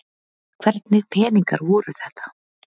Hvernig peningar voru þetta?